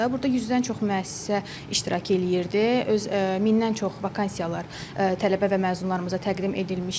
Burda 100-dən çox müəssisə iştirak eləyirdi, öz 1000-dən çox vakansiyalar tələbə və məzunlarımıza təqdim olunmuşdu.